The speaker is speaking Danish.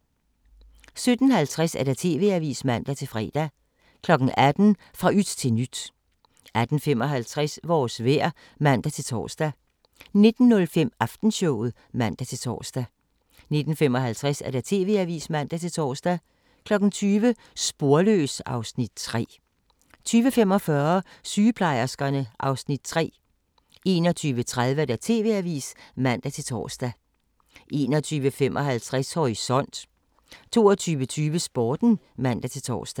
17:50: TV-avisen (man-fre) 18:00: Fra yt til nyt 18:55: Vores vejr (man-tor) 19:05: Aftenshowet (man-tor) 19:55: TV-avisen (man-tor) 20:00: Sporløs (Afs. 3) 20:45: Sygeplejerskerne (Afs. 3) 21:30: TV-avisen (man-tor) 21:55: Horisont 22:20: Sporten (man-tor)